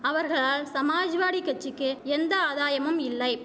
அவர்களால் சமாஜ்வாடி கட்சிக்கு எந்த ஆதாயமும் இல்லை